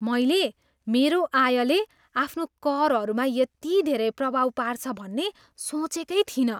मैले मेरो आयले आफ्नो करहरूमा यति धेरै प्रभाव पार्छ भन्ने सोचेकै थिइनँ।